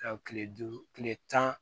Ka kile duuru kile tan